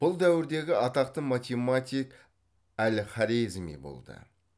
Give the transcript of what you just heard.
бұл дәуірдегі атақты математик әл хорезми болды